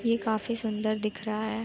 ये काफी सुंदर दिख रहा है।